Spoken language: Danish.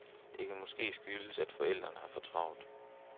Det kan måske skyldes, at forældre har for travlt.